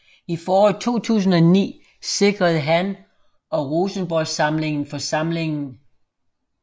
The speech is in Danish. I foråret 2009 sikrede han og Rosenborgsamlingen for samlingen